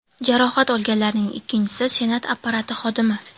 Jarohat olganlarning ikkinchisi Senat apparati xodimi.